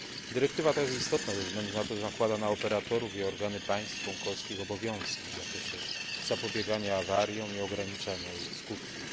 Dyrektywa ta jest istotna ze względu na to, że nakłada na operatorów i organy państw członkowskich obowiązki w zakresie zapobiegania awariom i ograniczania ich skutków.